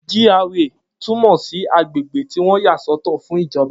G.R.A túmọ̀ sí agbègbè tí wọ́n yàsọ́tọ̀ fún ìjọba